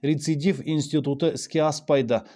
рецидив институты іске аспайды